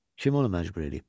Kim onu məcbur eləyib?